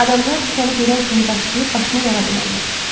Adamlar səni görən kimi daşıyıb başını yara bilərlər.